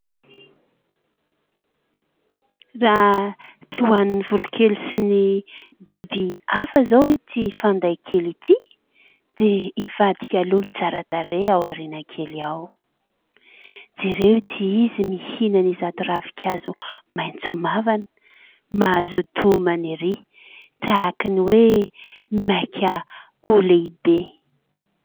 Raha tsy hohanin'ny voronkely sy ny biby hafa izao ity fanday kely ity dia ivadika lolo tsara tarehy ao aoriana kely ao. Jereo ity izy mihinana izato ravin-kazo maitso mavana. Mazoto homana erỳ, tahaka ny hoe maika ho lehibe.